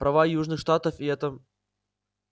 права южных штатов и это